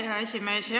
Aitäh, hea esimees!